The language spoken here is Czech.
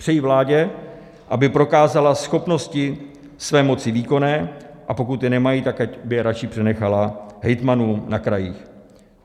Přeji vládě, aby prokázala schopnosti své moci výkonné, a pokud je nemají, tak aby je radši přenechala hejtmanům na krajích.